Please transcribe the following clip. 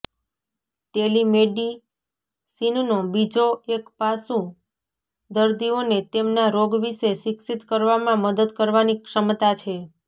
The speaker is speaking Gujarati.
ટેલીમેડિસિનનો બીજો એક પાસું દર્દીઓને તેમના રોગ વિશે શિક્ષિત કરવામાં મદદ કરવાની ક્ષમતા છે